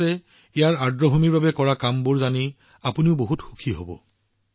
ভাৰতে ইয়াৰ আৰ্দ্ৰভূমিৰ বাবে কৰা কামৰ বিষয়ে জানি আপোনালোকেও অধিক সুখী হব